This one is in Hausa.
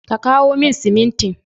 Ka kawo min simin tin.